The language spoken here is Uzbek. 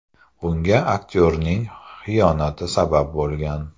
Bunga aktyorning xiyonati sabab bo‘lgan.